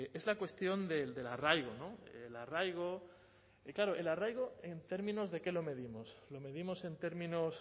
es la cuestión del arraigo el arraigo en términos de qué lo medimos lo medimos en términos